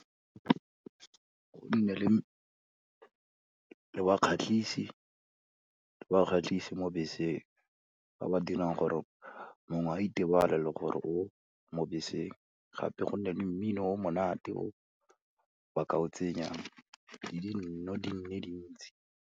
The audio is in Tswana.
Go nne le bakgatlhisi mo beseng ba ba dirang gore mongwe a itebale le gore o mo beseng, gape go nne le mmino o monate o ba ka o tsenyang, gape le dino di nne dintsi.